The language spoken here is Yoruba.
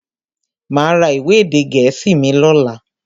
Máa ra ìwé èdè gẹ̀ẹ́sì mi lọ́la.